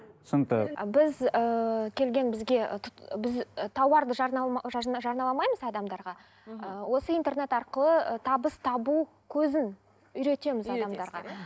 түсінікті біз ііі келген бізге біз ы тауарды жарнамаламаймыз адамдарға ыыы осы интернет арқылы ы табыс табу көзін үйретеміз адамдарға